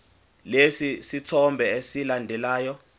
lesi sithombe esilandelayo